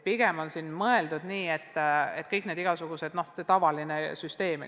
Pigem on mõeldud nii, et rakendame tavalist süsteemi.